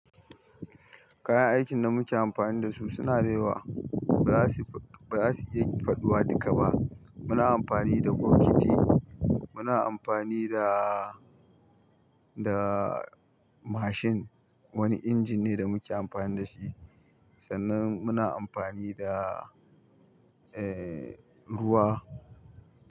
Kayan aikin da muke amfani da su suna da yawa. Ba za su, ba za su iya faɗuwa duka ba. Muna amfani da bokiti, muna amfani da, da mashin, wani injin ne da muke amfani da shi. Sannan muna amfani da, eh, ruwa.